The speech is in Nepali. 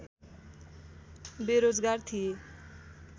बेरोजगार थिए